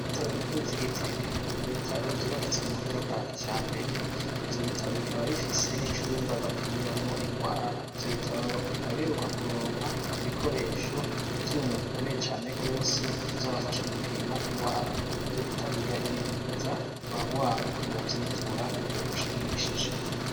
Ibitaro bikuru vy'igitega n'ibitaro vyubakitse ku buhinga bwa kijambere ivyo bitaro bikaba bifise n'icumba bapimiramwo ingwara, ivyo bitaro bikaba biheruka kuronka ibikoresho ibyuma bikomeye cyane gose vyobafasha gupima ingwara, ivyo bitaro bigahimiriza abagwayi ko bovyitura ku rugero rushimishije.